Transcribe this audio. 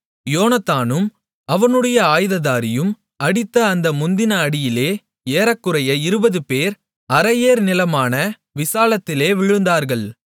யோனத்தானும் அவனுடைய ஆயுததாரியும் அடித்த அந்த முந்தின அடியிலே ஏறக்குறைய 20 பேர் அரை ஏர் நிலமான விசாலத்திலே விழுந்தார்கள்